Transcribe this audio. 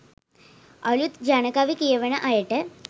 අළුත් ජනකවි කියවන අයට